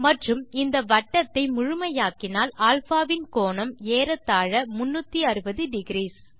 மற்றும் இந்த வட்டத்தை முழுமையாக்கினால் α வின் கோணம் ஏறத்தாழ 360 டிக்ரீஸ்